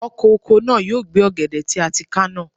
Ọkọ̀ oko náà yóò gbẹ́ ọ̀gẹ̀dẹ̀ tí a ti ká náà.